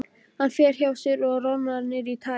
Hann fer hjá sér og roðnar niður í tær.